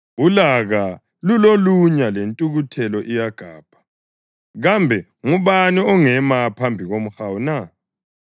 Ulaka lulolunya lentukuthelo iyagabha, kambe ngubani ongema phambi komhawu na?